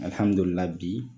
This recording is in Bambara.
Ahamdulila bi